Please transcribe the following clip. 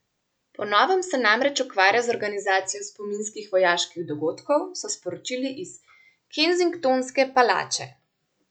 Po novem se namreč ukvarja z organizacijo spominskih vojaških dogodkov, so sporočili iz kensingtonske palače.